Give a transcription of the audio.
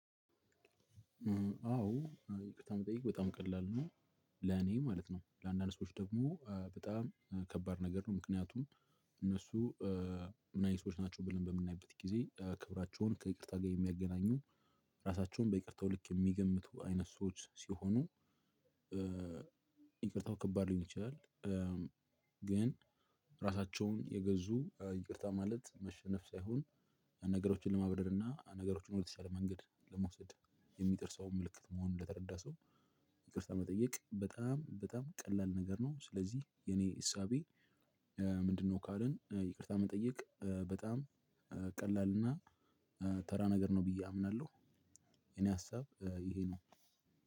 አዎ ይቅርታ መጠየቅ በጣም ቀላል ነው። ለኔ ማለት ነው ለአንዳንድ ሰዎች ደግሞ በጣም ከባድ ነገር ነው። ምክንያቱም እነሱ ምን አይነት ሰዎች ናቸው ብለን በምናይበት ጊዜ ክብራቸውን ከይቅርታ ጋ የሚያገናኙ ራሳቸውን በይቅርታው ልክ ሚገምቱ አይነት ሰዎች ሲሆኑ ይቅርታው ከባድ ሊሆን ይችላል። ግን ራሳቸውን የገዙ ይቅርታ ማለት መሸነፍ ሳይሆን ነገሮችን ለማብረር እና ነገሮችን ወደተሻለ መንገድ ለመውሰድ የሚጥር ሰው ምልክት መሆኑን ለተረዳ ሰው ይቅርታ መጠየቅ በጣም በጣም ቀላል ነገር ነው። ስለዚህ የኔ እሳቤ ምንድነው? ካልን ይቅርታ መጠየቅ በጣም ቀላል እና ተራ ነገር ነው ብዬ አምናለሁ። የኔ ሀሳብ ይሄ ነው።